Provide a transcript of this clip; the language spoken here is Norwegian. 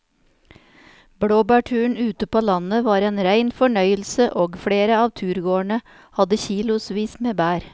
Blåbærturen ute på landet var en rein fornøyelse og flere av turgåerene hadde kilosvis med bær.